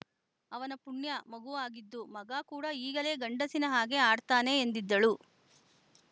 ಅವನ ಪುಣ್ಯ ಮಗು ಆಗಿದ್ದು ಮಗ ಕೂಡ ಈಗಲೇ ಗಂಡಸಿನ ಹಾಗೆ ಆಡ್ತಾನೆ ಎಂದಿದ್ದಳು